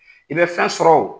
I bɛ fɛn sɔrɔ o